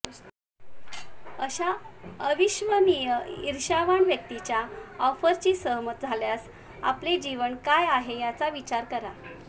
अशा अविश्वसनीय इर्ष्यावान व्यक्तीच्या ऑफरशी सहमत झाल्यास आपले जीवन काय आहे याचा विचार करा